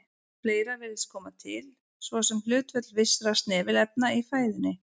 Fleira virðist koma til, svo sem hlutföll vissra snefilefna í fæðunni.